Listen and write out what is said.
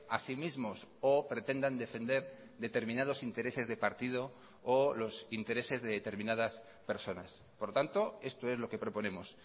a sí mismos o pretendan defender determinados intereses de partido o los intereses de determinadas personas por tanto esto es lo que proponemos